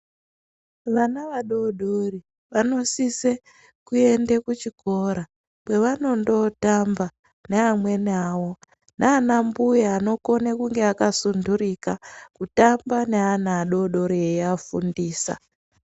Vana vadodori vanosise kuende kuchikora , kwevandondotamba ne amweni awo. Nanambuya anokone kunge akasundurika, kutamba ne ana adodori eyiyafundisa